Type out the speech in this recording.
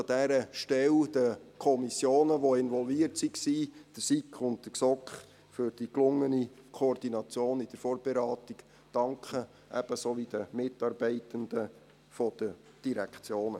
Ich möchte an dieser Stelle den Kommissionen, welche involviert waren, der SiK und der GSoK, für die gelungene Koordination in der Vorberatung danken, ebenso den Mitarbeitenden der Direktionen.